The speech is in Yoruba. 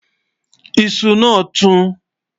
iṣù nà tú